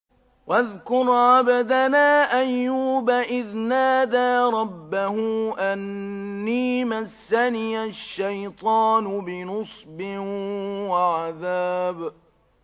وَاذْكُرْ عَبْدَنَا أَيُّوبَ إِذْ نَادَىٰ رَبَّهُ أَنِّي مَسَّنِيَ الشَّيْطَانُ بِنُصْبٍ وَعَذَابٍ